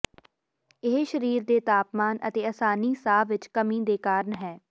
ਇਹ ਸਰੀਰ ਦੇ ਤਾਪਮਾਨ ਅਤੇ ਆਸਾਨੀ ਸਾਹ ਵਿਚ ਕਮੀ ਦੇ ਕਾਰਨ ਹੈ